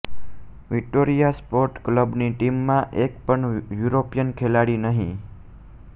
Vitoria sport ક્લબની ટીમમાં એક પણ યુરોપિયન ખેલાડી નહીં